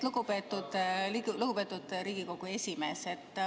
Lugupeetud Riigikogu esimees!